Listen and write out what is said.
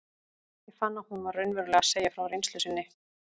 Ég fann að hún var raunverulega að segja frá reynslu sinni.